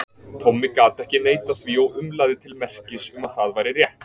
Tommi gat ekki neitað því og umlaði til merkis um að það væri rétt.